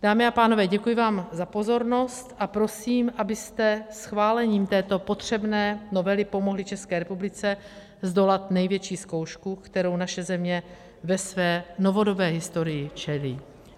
Dámy a pánové, děkuji vám za pozornost a prosím, abyste schválením této potřebné novely pomohli České republice zdolat největší zkoušku, které naše země ve své novodobé historii čelí.